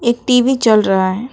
एक टी_वी चल रहा है।